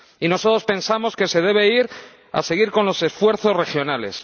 Y nosotros pensamos que se debe seguir con los esfuerzos regionales.